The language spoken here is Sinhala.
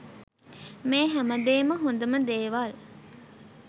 මේ හැමදේම හොඳම දේවල්